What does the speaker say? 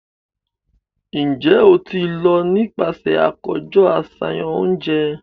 Njẹ o ti lọ nipasẹ akojọ aṣayan ounjẹ?